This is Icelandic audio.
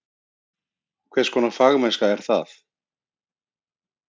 Hvers konar fagmennska er það?